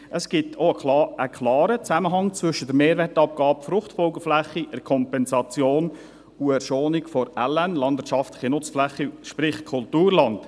Es gibt auch einen klaren Zusammenhang zwischen der Mehrwertabgabe Fruchtfolgefläche, der Kompensation und der Schonung der landwirtschaftlichen Nutzflächen (LN), sprich Kulturland.